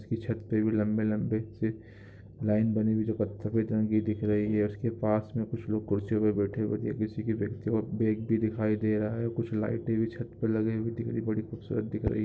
इसके छत पर भी लंबे-लंबे से लाइन बनी हुई उसके पास में कुछ लोग कुर्सी में बैठे हुए बैग भी दिखाई दे रहा है कुछ लाइटें भी छत पर लगी हुई कितनी बड़ी खूबसूरत दिख रही।